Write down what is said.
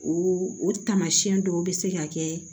O tamasiyɛn dɔw bɛ se ka kɛ